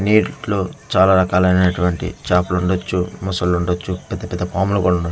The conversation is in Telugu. నీటిలో చాలా రకాలైనటువంటి చాపలు ఉండొచ్చు మొసలుండొచ్చు పెద్ద పెద్ద పాములు కూడా ఉం--